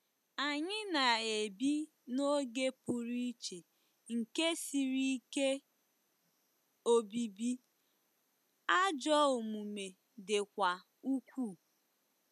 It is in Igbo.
Anyị na-ebi 'n'oge pụrụ iche nke siri ike obibi,' ajọ omume dịkwa ukwuu.